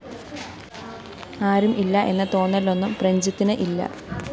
ആരും ഇല്ല എന്ന തോന്നലൊന്നും പ്രഞ്ജിത്തിന്‌ ഇല്ല